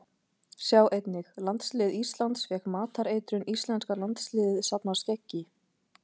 Sjá einnig: Landslið Íslands fékk matareitrun Íslenska landsliðið safnar skeggi